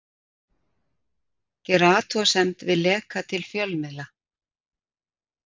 Gera athugasemd við leka til fjölmiðla